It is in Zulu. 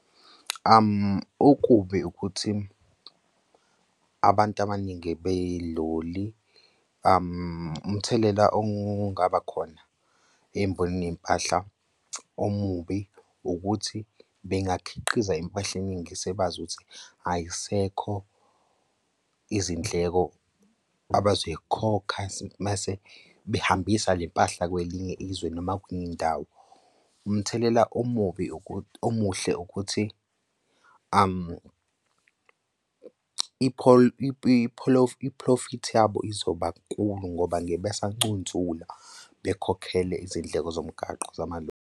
Okubi ukuthi abantu abaningi beloli umthelela ongaba khona embonini yey'mpahla omubi ukuthi bengakhiqiza impahla eningi sebazi ukuthi ay'sekho izindleko abazoy'khokha mase behambisa le mpahla kwelinye izwe noma kwenye indawo. Umthelela omubi ukuthi, omuhle ukuthi i-profit yabo izoba nkulu ngoba ngeke besancunsula bekhokhele izindleko zomgwaqo zamaloli.